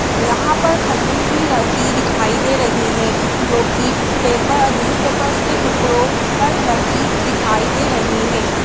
यहाँ पर खजूर भी रखी दिखाई दे रही है जो कि पेपर न्यूजपेपर्स के टुकड़ो पर रखी दिखाई दे रही है।